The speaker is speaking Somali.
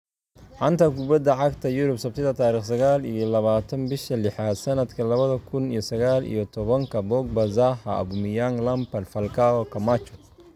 Xanta Kubadda Cagta Yurub Sabtida tariq sagal iyo labatan bisha lixaad sanadka labada kun iyo sagal iyo tobanka Pogba, Zaha, Aubameyang, Lampard, Falcao, Camacho